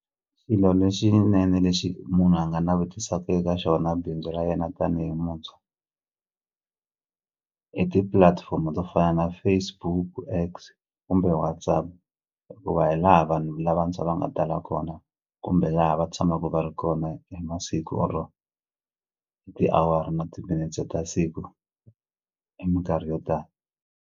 Xilo lexinene lexi munhu a nga navetisaka eka xona bindzu ra yena tanihi muntshwa i tipulatifomo to fana na Facebook, X kumbe WhatsApp hikuva hi laha vanhu lavantshwa va nga tala kona kumbe laha va tshamaku va ri kona hi masiku or-o hi tiawara na timinetse ta siku hi minkarhi yo tala.